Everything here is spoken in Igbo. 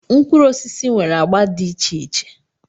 Mkpụrụ osisi nwere agba dị iche iche.